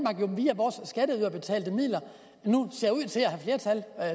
via vores skatteyderbetalte midler nu